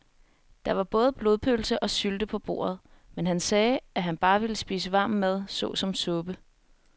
Der var både blodpølse og sylte på bordet, men han sagde, at han bare ville spise varm mad såsom suppe.